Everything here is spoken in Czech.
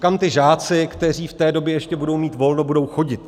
Kam ti žáci, kteří v té době ještě budou mít volno, budou chodit?